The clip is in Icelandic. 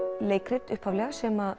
leikrit upphaflega sem